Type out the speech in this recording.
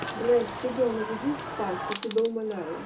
блядь ребёнок иди спать я тебя умоляю